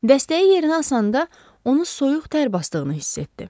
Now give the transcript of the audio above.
Dəstəyi yerinə asanda onu soyuq tər basdığını hiss etdi.